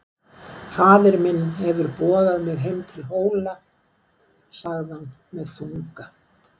Faðir minn hefur boðað mig heim til Hóla, sagði hann með þunga.